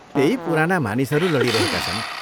त्यही पुराना मानिसहरू लडिरहेका छन्।